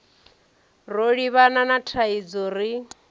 ro livhana na thaidzo ri